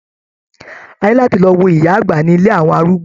A ní láti lọ wo ìyá àgbà ní ilé àwọn arúgbó.